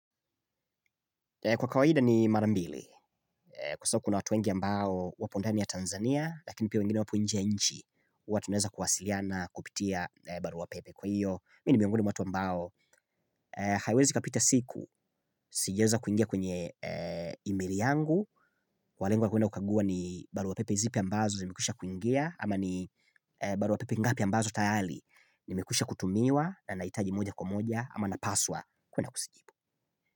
Kwa kawaida ni marambili, kwa sababu kuna watu wengi ambao wapo ndani ya Tanzania, lakini pia wengine wapo nje nchi, huwa tunaeza kuwasiliana kupitia barua pepe kwa hiyo. Mi ni miongoni mwa watu ambao, haiwezi ikapita siku, sijaeza kuingia kwenye emaili yangu, kwa lengo la kwenda kukaguwa ni barua pepe zipi ambazo zimekwisha kuingia, ama ni barua pepe ngapi ambazo tayari, nimekwisha kutumiwa, na nahitaji moja kwa moja, ama na paswa, kwenda kuzijibu.